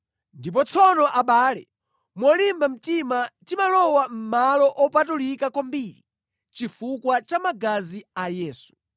Ndipo tsono abale, molimba mtima timalowa mʼMalo Opatulika kwambiri chifukwa cha magazi a Yesu.